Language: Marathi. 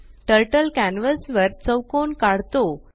टर्टल कॅन्वस वर चौकोन काढतो